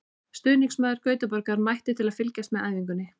Stuðningsmaður Gautaborgar mætti til að fylgjast með æfingunni.